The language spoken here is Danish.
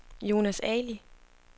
Jonas Ali